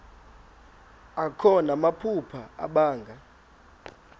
akho namaphupha abanga